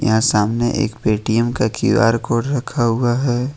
यहां सामने एक पे टीएम का क्यू_आर कोड रखा हुआ है।